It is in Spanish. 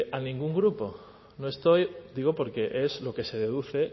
a ningún grupo no estoy digo porque es lo que se deduce